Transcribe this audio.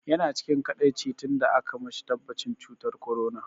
Yana cikin kaɗaici tun da aka mashi tabbatacin cutar corona.